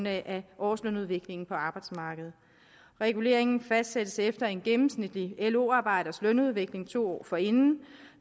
af årslønudviklingen på arbejdsmarkedet reguleringen fastsættes efter en gennemsnitlig lo arbejders lønudvikling to år forinden og